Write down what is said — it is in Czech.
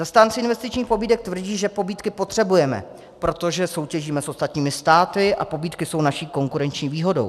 Zastánci investičních pobídek tvrdí, že pobídky potřebujeme, protože soutěžíme s ostatními státy a pobídky jsou naší konkurenční výhodou.